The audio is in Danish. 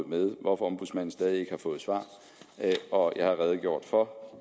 med hvorfor ombudsmanden stadig ikke har fået svar og jeg har redegjort for